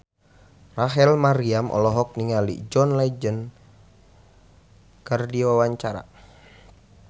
Rachel Maryam olohok ningali John Legend keur diwawancara